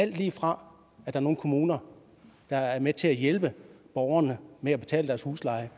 lige fra nogle kommuner der er med til at hjælpe borgerne med at betale deres husleje